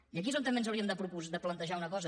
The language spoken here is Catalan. i aquí és on també ens hauríem de plantejar una cosa